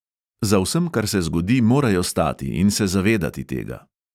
Za vsem, kar se zgodi, morajo stati in se zavedati tega.